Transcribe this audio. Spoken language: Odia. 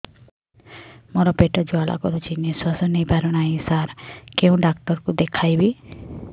ମୋର ପେଟ ଜ୍ୱାଳା କରୁଛି ନିଶ୍ୱାସ ନେଇ ପାରୁନାହିଁ ସାର କେଉଁ ଡକ୍ଟର କୁ ଦେଖାଇବି